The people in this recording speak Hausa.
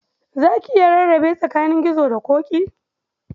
Za ki iya rarrabe tsakanin Gizo da Ƙoƙi?